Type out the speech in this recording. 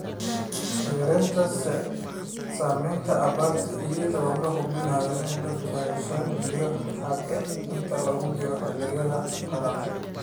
Yaraynta saamaynta abaarta iyadoo la hubinayo in dhirtu hesho biyo xataa inta lagu jiro xilliga qalalan.